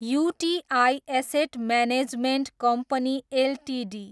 UTI asset management company Ltd